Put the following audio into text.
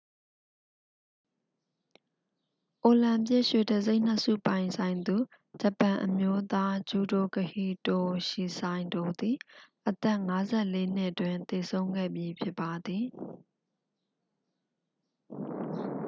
အိုလံပစ် ရွှေတံဆိပ်နှစ်ဆုပိုင်ဆိုင်သူ ဂျပန်အမျိုးသား ဂျုဒိုကဟီတိုရှီစိုင်တို သည် အသက် 54 နှစ်တွင် သေဆုံးခဲ့ပြီဖြစ်ပါသည်